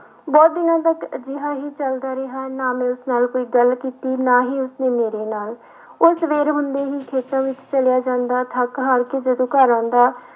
ਬਹੁਤ ਦਿਨਾਂ ਤੱਕ ਅਜਿਹਾ ਹੀ ਚੱਲਦਾ ਰਿਹਾ ਨਾ ਮੈਂ ਉਸ ਨਾਲ ਕੋਈ ਗੱਲ ਕੀਤੀ ਨਾ ਹੀ ਉਸਨੇ ਮੇਰੇ ਨਾਲ ਉਹ ਸਵੇਰ ਹੁੰਦੇ ਹੀ ਖੇਤਾਂ ਵਿੱਚ ਚਲਿਆ ਜਾਂਦਾ ਥੱਕ ਹਾਰ ਕੇ ਜਦੋਂ ਘਰ ਆਉਂਦਾ,